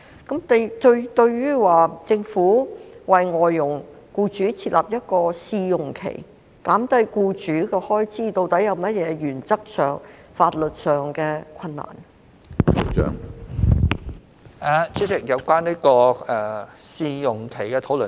關於政府為外傭僱主設立試用期，減低其開支，究竟在原則和法律上有甚麼困難呢？